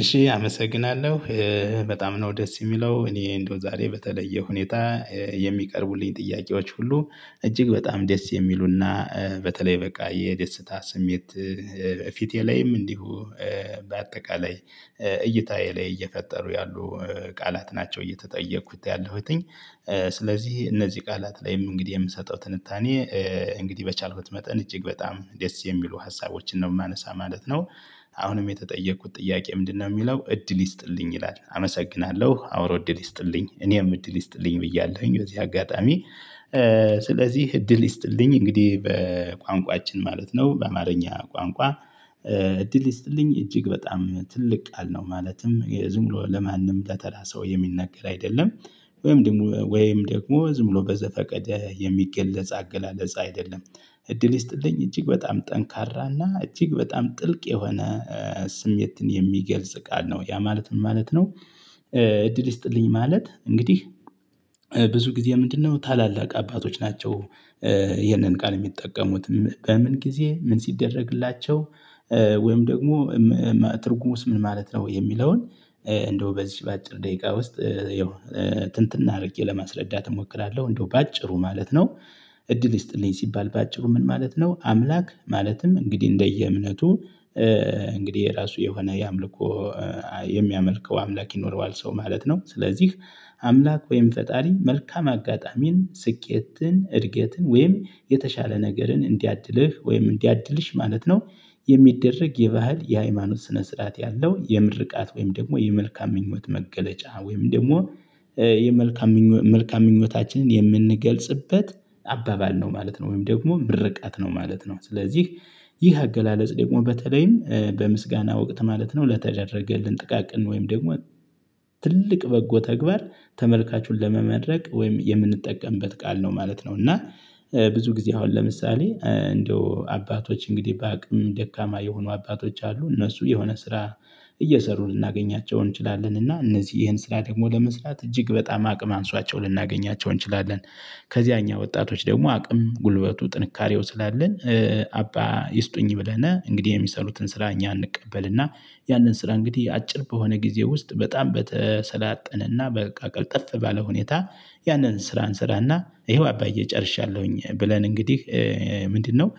እሺ አመሰግናለሁ በጣም ነው ደስ የሚለው እኔ እንደው ዛሬ በተለየ ሁኔታ የሚቀርቡልኝ ጥያቄዎች ሁሉ እጅግ በጣም ደስ የሚሉና በተለይ በቃ የደስታ ስሜት ፊቴ ላይም እንዲሁ በአጠቃላይ እይታዬ ላይ እየፈጠሩ ያሉ ቃላት ናቸው እየተጠየቁት ያለሁትኝ ስለዚህ እነዚህ ቃላት ላይም እንግዲህ የምሰጠው ትንታኔ እንግዲህ በቻልኩት መጠን እጅግ በጣም ደስ የሚሉ ሀሳቦችን ነው የማነሳ ማለት ነው። አሁንም የተጠየቅኩት ጥያቄ ምንድነው? የሚለው እድል ይስጥልኝ ይላል አመሰግናለሁ አብሮ እድል ይስጥልኝ እኔም እድል ይስጥልኝ ብያለሁኝ በዚህ አጋጣሚ ስለዚህ እድል ይስጥልኝ እንግዲህ በቋንቋችን ማለት ነው በአማርኛ ቋንቋ። እድል ይስጥልኝ እጅግ በጣም ትልቅ ቃል ነው ማለትም ዝም ብሎ ለማንም ለተራ ሰው የሚናገር አይደለም። ወይም ደግሞ ወይም ደግሞ ዝም ብሎ በዘፈቀደ የሚገለጽ አገላለጽ አይደለም። እድል ይስጥልኝ እጅግ በጣም ጠንካራና እጅግ በጣም ጥልቅ የሆነ ስሜትን የሚገልጽ ቃል ነው። ያ ማለት ምን ማለት ነው? እድል ይስጥልኝ ማለት እንግዲህ ብዙ ጊዜ ምንድነው ታላላቅ አባቶች ናቸው? ይሄንን ቃል የሚጠቀሙት በምን ጊዜ ምን ሲደረግላቸው? ወይም ደግሞ ትርጉሙስ ምን ማለት ነው? የሚለውን እንደው በዚች በአጭር ደቂቃ ውስጥ ያው ትንትን አድርጌ ለማስረዳት እሞክራለሁ እንደው በአጭሩ ማለት ነው። እድል ይስጥልኝ ሲባል በአጭሩ ምን ማለት ነው? አምላክ ማለትም እንግዲህ እንደየእምነቱ እንግዲህ የራሱ የሆነ የአምልኮ የሚያመልከው አምላክ ይኖረዋል ሰው ማለት ነው። ስለዚህ አምላክ ወይም ፈጣሪ መልካም አጋጣሚን ስኬትን እድገትን ወይም የተሻለ ነገርን እንዲያድልህ ወይም እንዲያድልሽ ማለት ነው። የሚደረግ የባህል የሃይማኖት ስነ ስርዓት ያለው የምርቃት ወይም ደግሞ የመልካም ምኞት መገለጫ ወይም ደግሞ የመልካም መልካም ምኞታችንን የምንገልጽበት አባባል ነው ማለት ነው። ወይም ደግሞ ምርቃት ነው ማለት ነው ስለዚህ ይህ አገላለጽ ደግሞ በተለይም በምስጋና ወቅት ማለት ነው ለተደረገልን ጥቃቅን ወይም ደግሞ ትልቅ በጎ ተግባር ተመልካቹን ለመመረቅ ወይም የምንጠቀምበት ቃል ነው ማለት ነው። እና ብዙ ጊዜ አሁን ለምሳሌ እንደው አባቶች እንግዲህ በአቅም ደካማ የሆኑ አባቶች አሉ። እነሱ የሆነ ስራ እየሰሩ ልናገኛቸው እንችላለን እና እነዚህ ይሄን ስራ ደግሞ ለመስራት እጅግ በጣም አቅም አንሷቸው ልናገኛቸው እንችላለን። ከዚያ እኛ ወጣቶች ደግሞ አቅም ጉልበቱ ጥንካሬው ስላለን አባ ይስጡኝ ብለነ እንግዲህ የሚሰሩትን ስራ እኛ እንቀበልና ያንን ስራ እንግዲህ አጭር በሆነ ጊዜ ውስጥ በጣም በተሰላጠነና በቃ ቀልጠፍ ባለ ሁኔታ ያንን ስራ እንሰራና ይሄው አባዬ ጨርሻለሁኝ ብለን እንግዲህ ምንድነው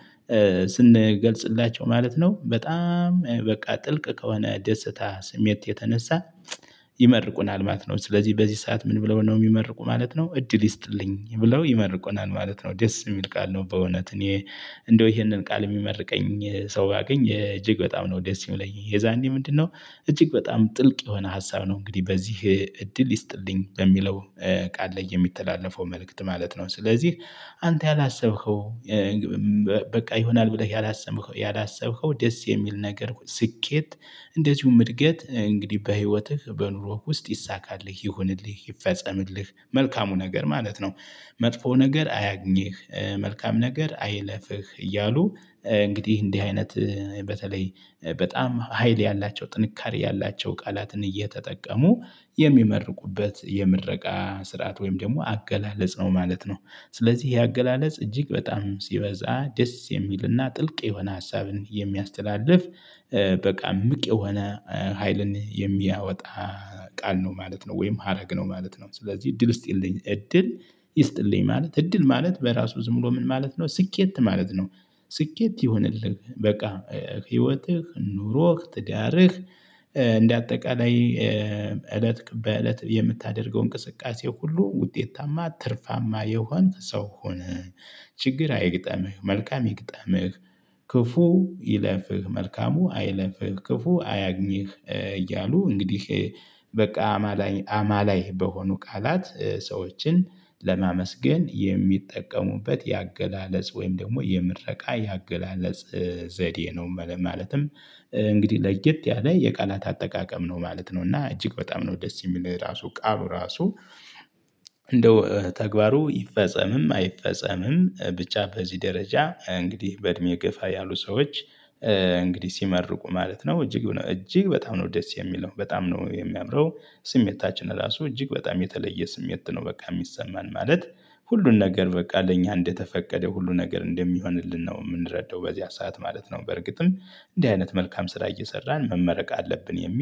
ስንገልጽላቸው ማለት ነው። በጣም በቃ ጥልቅ ከሆነ ደስታ ስሜት የተነሳ ይመርቁናል ማለት ነው። ስለዚህ በዚህ ሰዓት ምን ብለው ነው የሚመርቁ ማለት ነው? እድል ይስጥልኝ ብለው ይመርቁናል ማለት ነው። ደስ የሚል ቃል ነው በእውነት እኔ እንደው ይሄንን ቃል የሚመርቀኝ ሰው ባገኝ እጅግ በጣም ነው ደስ የሚለኝ። የዛኔ ምንድነው? እጅግ በጣም ጥልቅ የሆነ ሀሳብ ነው እንግዲህ በዚህ እድል ይስጥልኝ በሚለው ቃል ላይ የሚተላለፈው መልእክት ማለት ነው። ስለዚህ አንተ ያላሰብኸው በቃ ይሆናል ብለህ ያላሰምኸው ያላሰብኸው ደስ የሚል ነገር ስኬት እንደዚሁም እድገት እንግዲህ በህይወትህ በኑሮህ ውስጥ ይሳካልህ ይሁንልህ ይፈጸምልህ መልካሙ ነገር ማለት ነው። መጥፎ ነገር አያግኝህ መልካም ነገር አይለፍህ እያሉ እንግዲህ እንዲህ አይነት በተለይ በጣም ሀይል ያላቸው ጥንካሬ ያላቸው ቃላትን እየተጠቀሙ የሚመርቁበት የምረቃ ስርዓት ወይም ደግሞ አገላለጽ ነው ማለት ነው። ስለዚህ ይሄ አገላለጽ እጅግ በጣም ሲበዛ ደስ የሚልና ጥልቅ የሆነ ሀሳብን የሚያስተላልፍ በቃ እምቅ የሆነ ሀይልን የሚያወጣ ቃል ነው ማለት ነው። ወይም ሀረግ ነው ማለት ነው። ስለዚህ እድል ይስጢልኝ እድል ይስጥልኝ ማለት እድል ማለት በራሱ ዝም ብሎ ምን ማለት ነው? ስኬት ማለት ነው። ስኬት ይሁንልህ በቃ ህይወትህ ኑሮህ ትዳርህ እንደ አጠቃላይ እለት በእለት የምታደርገው እንቅስቃሴህ ሁሉ ውጤታማ ትርፋማ የሆንክ ሰው ሁን። ችግር አይግጠምህ መልካም ይገጥምህ ክፉ ይለፍህ መልካሙ አይለፍህ ክፉ አያግኝህ እያሉ እንግዲህ። በቃ አማላኝ አማላይ በሆኑ ቃላት ሰዎችን ለማመስገን የሚጠቀሙበት የአገላለጽ ወይም ደግሞ የምረቃ የአገላለጽ ዘዴ ነው። ማለትም እንግዲህ ለየት ያለ የቃላት አጠቃቀም ነው ማለት ነው። እና እጅግ በጣም ነው ደስ የሚል ይሄ ራሱ ቃሉ ራሱ። እንደው ተግባሩ ይፈጸምም አይፈጸምም ብቻ በዚህ ደረጃ እንግዲህ በእድሜ ገፋ ያሉ ሰዎች እንግዲህ ሲመርቁ ማለት ነው እጅጉን እጅግ በጣም ነው ደስ የሚለው በጣም ነው የሚያምረው። ስሜታችን ራሱ እጅግ በጣም የተለየ ስሜት ነው በቃ የሚሰማን ማለት ሁሉን ነገር በቃ ለእኛ እንደተፈቀደ ሁሉ ነገር እንደሚሆንልን ነው የምንረዳው በዚያ ሰዓት ማለት ነው። በርግጥም እንዲህ አይነት መልካም ስራ እየሰራን መመረቅ አለብን የሚል